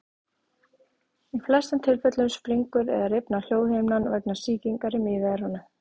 Í flestum tilfellum springur eða rifnar hljóðhimnan vegna sýkingar í miðeyranu.